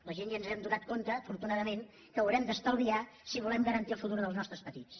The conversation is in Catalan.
la gent ja ens hem adonat afortunadament que haurem d’estalviar si volem garantir el futur dels nostres petits